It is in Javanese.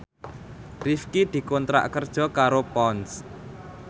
Rifqi dikontrak kerja karo Ponds